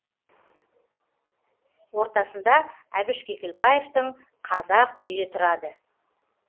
ортасында әбіш кекілбаевтың қазақ үйі тұрады